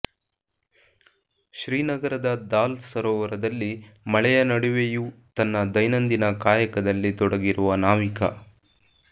ಶ್ರೀನಗರದ ದಾಲ್ ಸರೋವರದಲ್ಲಿ ಮಳೆಯ ನಡುವೆಯೂ ತನ್ನ ದೈನಂದಿನ ಕಾಯಕದಲ್ಲಿ ತೊಡಗಿರುವ ನಾವಿಕ